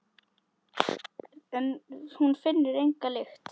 En hún finnur enga lykt.